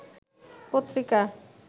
পত্রিকা